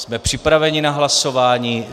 Jsme připraveni na hlasování.